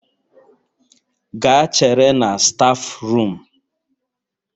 Gaa chere na stafu rum